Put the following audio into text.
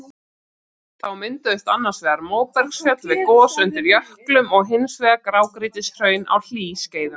Þá mynduðust annars vegar móbergsfjöll við gos undir jöklum og hins vegar grágrýtishraun á hlýskeiðum.